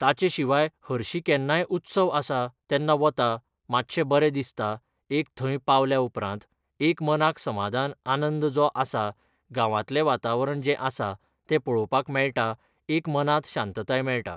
ताचे शिवाय हरशीं केन्नाय उत्सव आसा तेन्ना वता मातशें बरें दिसता एक थंय पावल्या उपरांत एक मनाक समाधान आनंद जो आसा गांवांतलें वातावरण जें आसा तें पळोवपाक मेळटा एक मनाक शांतताय मेळटा